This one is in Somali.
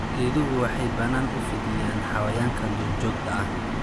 Geeduhu waxay bannaan u fidiyaan xayawaanka duurjoogta ah.